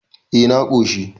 eh na koshi